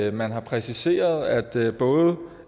at man har præciseret at både